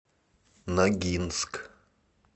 ногинск